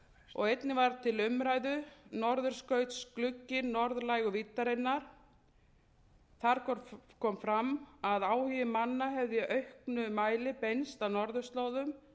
og einnig var til umræðu norðurskautsgluggi norðlægu víddarinnar þar kom fram að áhugi manna hefði í auknum mæli beinst að norðurslóðum